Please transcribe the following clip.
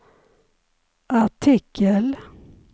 artikel